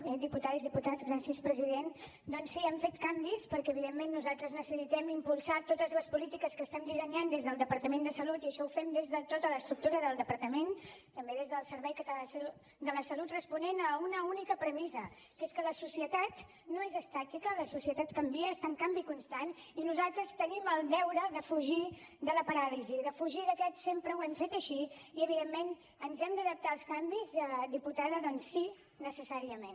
bé diputades diputats gràcies president doncs sí hem fet canvis perquè evidentment nosaltres necessitem impulsar totes les polítiques que estem dissenyant des del departament de salut i això ho fem des de tota l’estructura del departament també des del servei català de la salut responent a una única premissa que és que la societat no és estàtica la societat canvia està en canvi constant i nosaltres tenim el deure de fugir de la paràlisi de fugir d’aquest sempre ho hem fet així i evidentment ens hem d’adaptar als canvis diputada doncs sí necessàriament